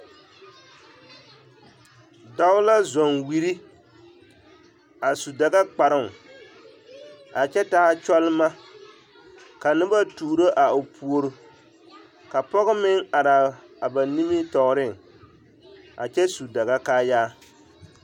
Dao la zɔŋ wiri a su Dagakparoŋ a kyɛ taa kyɔlema ka noba tuuro a o puori ka pɔge meŋ araa ba nimitɔɔreŋ a kyɛ su Daga kaayaa.